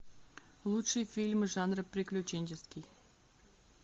лучшие фильмы жанра приключенческий